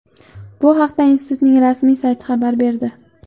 Bu haqda institutning rasmiy sayti xabar berdi .